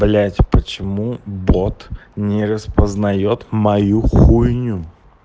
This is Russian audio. блять почему бот не распознает мою хуйню